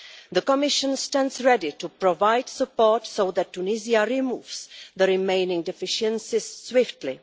The Commission stands ready to provide support so that Tunisia removes the remaining deficiencies swiftly.